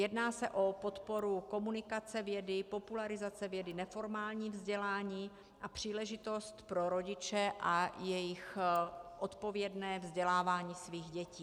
Jedná se o podporu komunikace vědy, popularizace vědy, neformální vzdělání a příležitost pro rodiče a jejich odpovědné vzdělávání svých dětí.